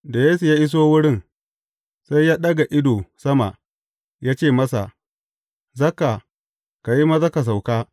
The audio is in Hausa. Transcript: Da Yesu ya iso wurin, sai ya ɗaga ido sama, ya ce masa, Zakka, ka yi maza ka sauka.